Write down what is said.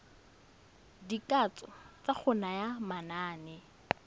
dikatso tsa go naya manane